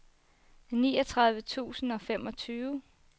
niogtredive tusind og femogtyve